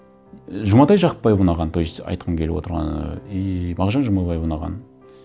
і жұматай жақыпбаев ұнаған то есть айтқым келіп отырғаны и мағжан жұмабаев ұнаған